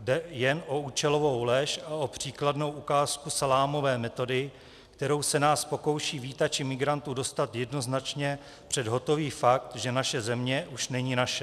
Jde jen o účelovou lež a o příkladnou ukázku salámové metody, kterou se nás pokouší vítači migrantů dostat jednoznačně před hotový fakt, že naše země už není naše.